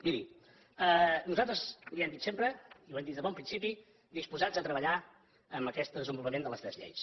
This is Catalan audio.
miri nosaltres li ho hem dit sempre i ho hem dit des de bon principi disposats a treballar amb aquest desenvolupament de les tres lleis